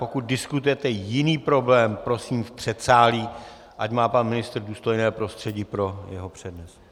Pokud diskutujete jiný problém, prosím v předsálí, ať má pan ministr důstojné prostředí pro svůj přednes.